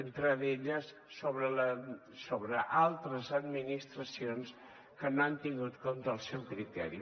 entre elles sobre altres administracions que no han tingut en compte el seu criteri